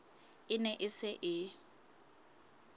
e ne e se e